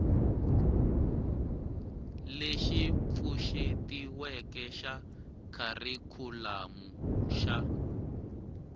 lexi pfuxetiweke xa kharikhulamu xa